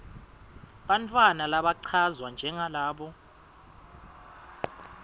bantfwana labachazwa njengalabo